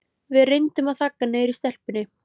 Við reyndum að þagga niður í stelpunni.